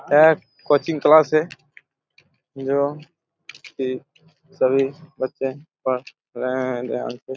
एक coaching class हैं यहा पे सभी बच्चे पढ़ रहे हैं ध्यान से--